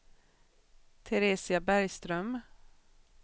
Teresia Bergström